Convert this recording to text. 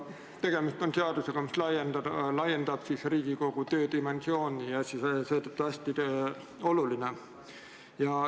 Tegemist on seadusega, mis laiendab Riigikogu töödimensiooni ja on seetõttu hästi oluline.